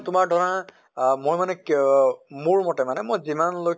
তোমাৰ ধৰা আহ মই মানে কেঅ মোৰ মতে মানে মই যিমান লৈ